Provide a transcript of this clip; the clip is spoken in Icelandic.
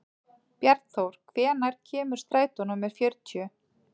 Bjarnþór, hvenær kemur strætó númer fjörutíu?